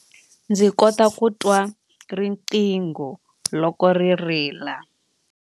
Ndzi kota ku twa riqingho loko ri rila.